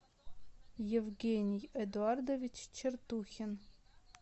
евгений эдуардович чертухин